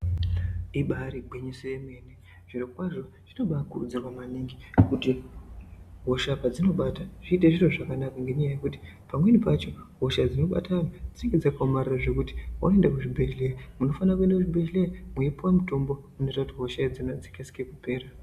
Ibaari gwinyiso yemene zvirokwazvo zvinobaakurudzirwa maningi kuti hosha padzinobata zviite zviro zvakanaka ngenyaya yekuti pamweni pacho hosha dzinobata dzinenge dzakaomarara zvekuti waenda kuzvibhedhlera unofanaenda kubhedhlera mweipuwe mitombo inoita kuti hosha idzona dzikasike kupera